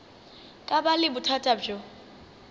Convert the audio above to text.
ka ba le bothata bjo